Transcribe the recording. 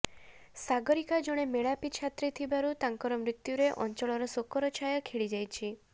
ସାଗରିକା ଜଣେ ମେଳାପୀ ଛାତ୍ରୀ ଥିବାରୁ ତାଙ୍କ ମୃତ୍ୟୁରେ ଅଂଚଳରେ ଶୋକର ଛାୟା ଖେଳିଯାଇଛି